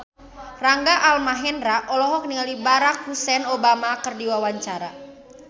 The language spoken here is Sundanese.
Rangga Almahendra olohok ningali Barack Hussein Obama keur diwawancara